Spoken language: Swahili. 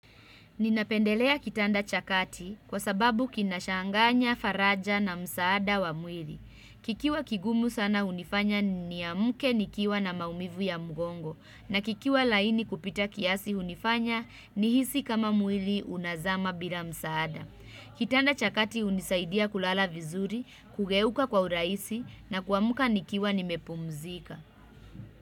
Ninapendelea kitanda cha kati kwa sababu kinashanganya, faraja na msaada wa mwili. Kikiwa kigumu sana hunifanya niamuke nikiwa na maumivu ya mgongo na kikiwa laini kupita kiasi unifanya nihisi kama mwili unazama bila msaada. Kitanda cha kati unisaidia kulala vizuri, kugeuka kwa uraisi na kuamuka nikiwa nimepumzika.